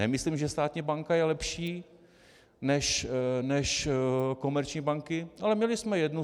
Nemyslím, že státní banka je lepší než komerční banky, ale měli jsme jednu.